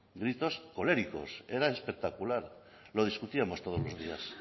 gritos coléricos era espectacular lo discutíamos todos los días